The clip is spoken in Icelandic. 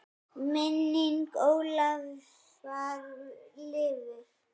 Minning Ólafar lifir.